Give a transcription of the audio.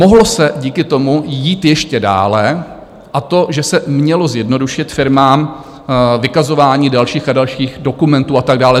Mohlo se díky tomu jít ještě dále, a to že se mělo zjednodušit firmám vykazování dalších a dalších dokumentů a tak dále.